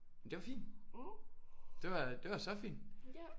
Men det var fint det var så fint